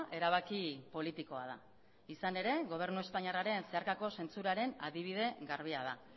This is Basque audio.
erabaki politikoa da izan ere gobernu espainiarraren zeharkako zentzuraren adibide garbia da